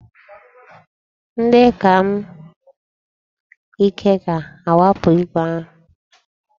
Ndị ka m ike ga-akwapụ igwe ahụ.